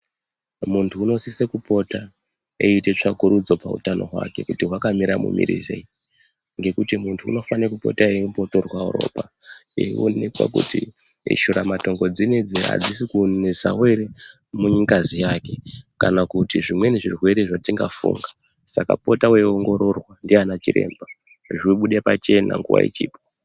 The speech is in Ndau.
Muntu unosise kupota eiite tsvakurudzo pamusoro peutano hwake kuti hwakamira mumirirei, ngekuti muntu unofane kupota eimbotorwawo ropa, eionekwa kuti shuramatongo dzinodzi adzisi kunetsawo ere mungazi yake kana kuti zvimweni zvirwere zvatingafunga, saka pota weiongororwa ndiana chiremba, zvibude pachena nguwa ichipo.